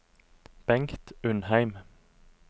Bengt Undheim